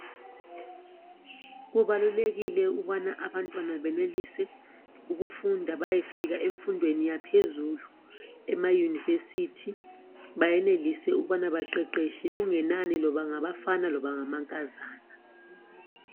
Kubalulekile ukubana abantwana benelise ukufunda bayefika emfundweni yaphezulu ema University bayenelise ukubana baqheqetshe kungenani noma ngabafana noma ngama nkazana